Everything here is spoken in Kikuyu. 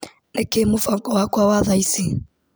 Nĩkĩĩ mũbango wakwa wa thaa ici ?